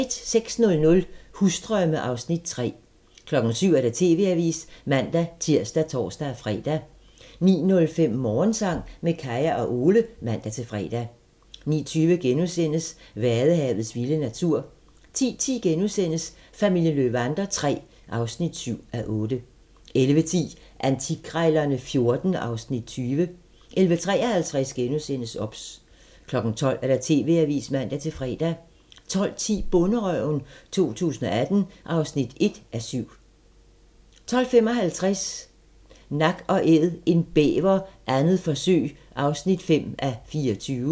06:00: Husdrømme (Afs. 3) 07:00: TV-avisen (man-tir og tor-fre) 09:05: Morgensang med Kaya og Ole (man-fre) 09:20: Vadehavets vilde natur * 10:10: Familien Löwander III (7:8)* 11:10: Antikkrejlerne XIV (Afs. 20) 11:53: OBS * 12:00: TV-avisen (man-fre) 12:10: Bonderøven 2018 (1:7) 12:55: Nak & Æd - en bæver, 2. forsøg (5:24)